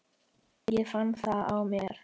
Ég fann það á mér.